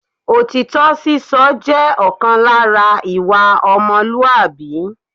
Òtítọ́ sísọ jẹ́ ọ̀kan lára ìwà ọmọlúwàbí